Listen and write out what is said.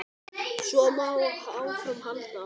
Svo má áfram halda.